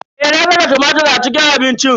Eh, na saka tumatir a cikin abincin.